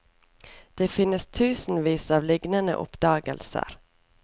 Det finnes tusenvis av lignende oppdagelser.